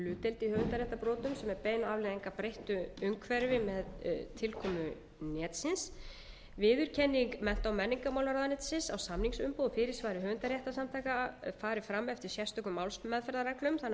bein afleiðing af breyttu umhverfi með tilkomu netsins viðurkenning mennta og menningarmálaráðuneytisins á samningsumboði og fyrirsvari höfundaréttarsamtaka fari fram eftir sérstökum málsmeðferðarreglum þannig að uppfyllt séu